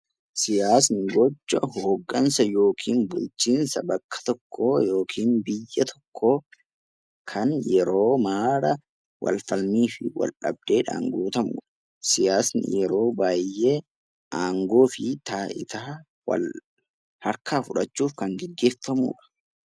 Siyaasni gocha hoggansa yookiin bulchiinsa bakka tokkoo yookiin biyya tokkoo kan yeeroo mara wal falmii fi wal dhabdeedhaan guutamu. Siyaasni yeroo baay'ee aangoo fi taayitaa wal harkaa fudhachuuf kan gaggeeffamudha.